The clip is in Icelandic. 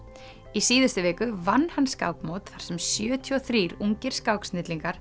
í síðustu viku vann hann skákmót þar sem sjötíu og þrír ungir